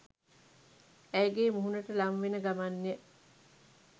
ඇයගේ මුහුණට ළංවෙන ගමන්ය.